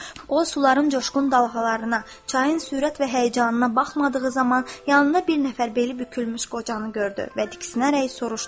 O, suların coşqun dalğalarına, çayın sürət və həyəcanına baxmadığı zaman yanında bir nəfər beli bükülmüş qocanı gördü və diksinərək soruşdu.